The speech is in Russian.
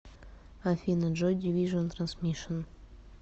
афина джой дивижн трансмишн